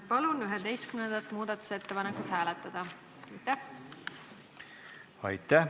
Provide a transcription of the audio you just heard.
Palun 11. muudatusettepanekut hääletada!